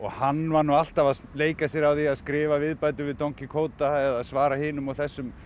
hann var nú alltaf að leika sér að því að skrifa viðbætur við don eða svara hinum og þessum